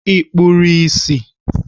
Ị kpuru ìsì?